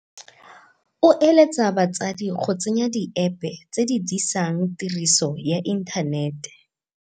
O eletsa batsadi go tsenya diepe tse di disang tiriso ya inthanete